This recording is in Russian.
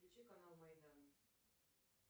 включи канал майдан